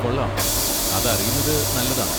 കൊള്ളാം! അതറിയുന്നത് നല്ലതാണ്.